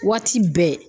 Waati bɛɛ